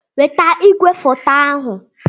Weta igwefoto ahu!